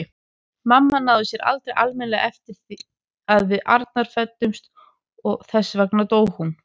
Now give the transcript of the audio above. Mamma náði sér aldrei almennilega eftir að við Arnar fæddumst og þess vegna dó hún.